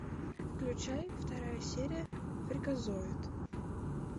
включай вторая серия фриказоид